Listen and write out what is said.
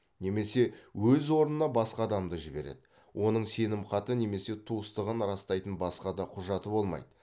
немесе өз орнына басқа адамды жібереді оның сенімхаты немесе туыстығын растайтын басқа да құжаты болмайды